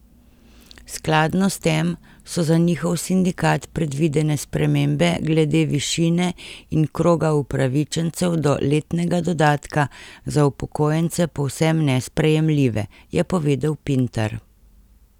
Skladno s tem so za njihov sindikat predvidene spremembe glede višine in kroga upravičencev do letnega dodatka za upokojence povsem nesprejemljive, je povedal Pintar.